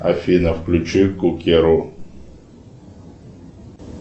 афина включи кукеру